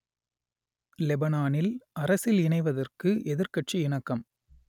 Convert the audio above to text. லெபனானில் அரசில் இணைவதற்கு எதிர்க்கட்சி இணக்கம்